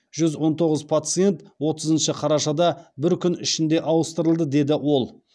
жүз он тоғыз пациент отызыншы қарашада бір күн ішінде ауыстырылды деді ол